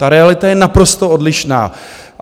Ta realita je naprosto odlišná.